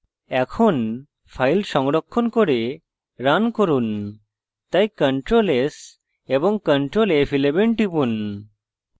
এখন file সংরক্ষণ করে run run তাই ctrl s এবং ctrl f11 টিপুন